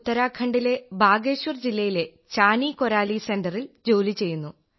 ഉത്തരാഖണ്ഡിലെ ബാഗേശ്വർ ജില്ലയിലെ ചാനി കോരാലി സെന്ററിൽ ജോലി ചെയ്യുന്നു